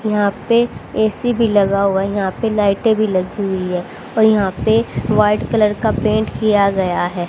यहां पे ऐ_सी भी लगा हुआ है यहां पे लाइटें भी लगी हुई है और यहां पे व्हाइट कलर का पेंट किया गया है।